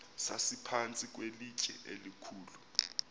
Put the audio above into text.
sasiphantsi kwelitye elikhulu